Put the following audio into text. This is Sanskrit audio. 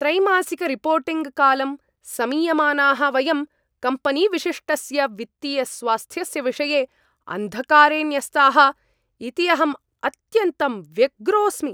त्रैमासिकरिपोर्टिङ्ग्कालं समीयमानाः वयं कम्पनीविशिष्टस्य वित्तीयस्वास्थ्यस्य विषये अन्धकारे न्यस्ताः इति अहम् अत्यन्तं व्यग्रोऽस्मि।